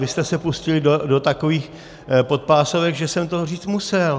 Vy jste se pustili do takových podpásovek, že jsem to říct musel.